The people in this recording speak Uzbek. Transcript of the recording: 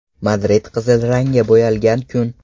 Madrid qizil rangga bo‘yalgan kun.